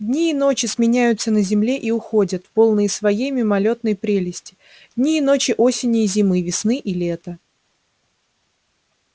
дни и ночи сменяются на земле и уходят полные своей мимолётной прелести дни и ночи осени и зимы весны и лета